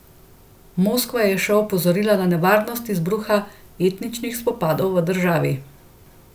Moskva je še opozorila na nevarnost izbruha etničnih spopadov v državi.